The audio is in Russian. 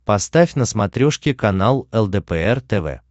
поставь на смотрешке канал лдпр тв